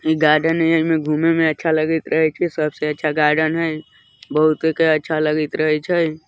इ गार्डन हैय इमे घूमे में अच्छा लगत रहइ छय सबसे अच्छा गार्डन हैय बहुत एकरा अच्छा लगईत रहे छय --